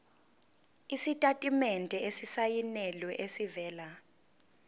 isitatimende esisayinelwe esivela